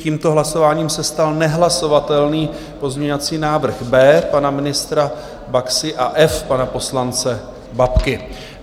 Tímto hlasováním se stal nehlasovatelný pozměňovací návrh B pana ministra Baxy a F pana poslance Babky.